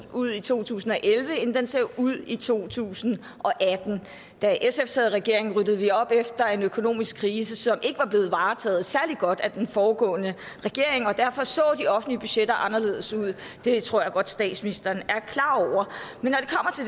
ud i to tusind og elleve end den ser ud i to tusind og atten da sf sad i regering ryddede vi op efter en økonomisk krise som ikke var blevet varetaget særlig godt af den foregående regering og derfor så de offentlige budgetter anderledes ud det tror jeg godt statsministeren